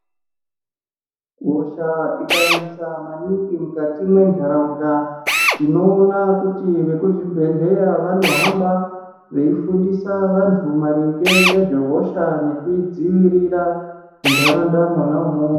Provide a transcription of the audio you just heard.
Hosha ikanesa maningi mukati mendaraumda tinoona kuti vekuzvibhedhlera vanohamba veifundisa vantu maringe nezvehosha nekudziwirira mundaraunda mona imomo.